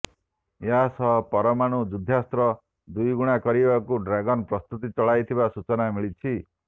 ଏହାସହ ପରମାଣୁ ଯୁଦ୍ଧାସ୍ତ୍ର ଦୁଇ ଗୁଣା କରିବାକୁ ଡ୍ରାଗନ ପ୍ରସ୍ତୁତି ଚଳାଇଥିବା ସୂଚନା ମିଳିଛି